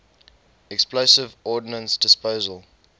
explosive ordnance disposal